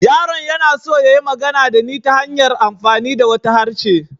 Yaron yana so ya yi magana da ni ta hanyar amfani da wata harshe.